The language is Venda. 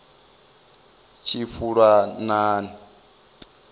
tshifulanani